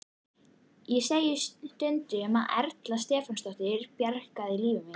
Ég segi stundum að Erla Stefánsdóttir hafi bjargað lífi mínu.